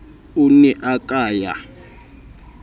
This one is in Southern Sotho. o ne a ka ya